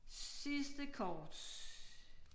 Sidste kort